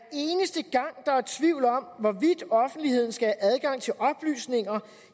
tvivl om offentligheden skal have adgang til oplysninger